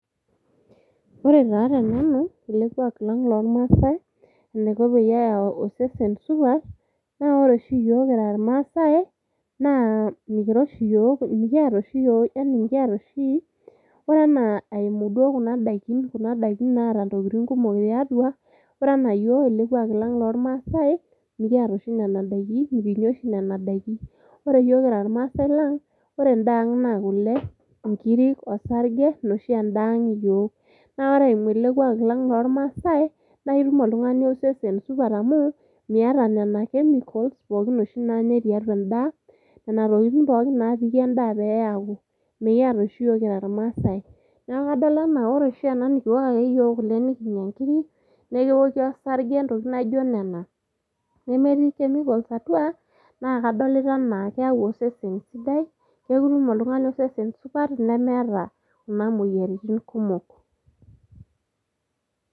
Ore taa tenanu ele kwak lang lormaase enaiko peyau osesen supat naa ore oshi iyiook kira irmaase naa mikiata oshi , ore anaa eimu kuna daikin eatua, ore anaa orkwak lang lormaase mikiata oshi nena daikin ,mikinya oshi nena daikin . Ore yiook kira irmaase naa ore endaa ang naa kule ,nkiri, osarge ina oshi endaa ang iyiook. Naa ore eimu ele kwak lang lormaase naa itumoltungani osesen supat amu miata nena chemicals oshi naanyae tiatua endaa, nena tokitin oshi pookin napiki endaa peyie eaku. Mikiata oshiiyiook kira irmaasae. Niaku kadol ena ore oshi naa nikiok ake yiook kule , nkiri, neoki osarge ntokitin naijo nena, nemetiii chemicals atua naa kadolita anaa keyau osesen sidai , niaku itum oltungani osesen supat lemeeta kuna moyiaritin kumok.